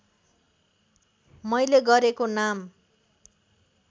मैले गरेको नाम